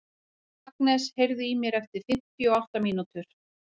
Agnes, heyrðu í mér eftir fimmtíu og átta mínútur.